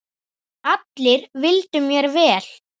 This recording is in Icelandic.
Allir vildu mér vel.